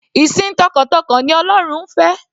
Ìsìn t'ọkàntọkàn ni ọlọ́run ń fẹ́.